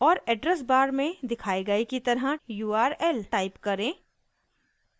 और address bar में दिखाए गए की तरह url टाइप करें